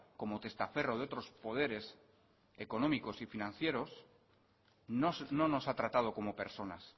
como testaferro de otros poderes económicos y financieros no nos ha tratado como personas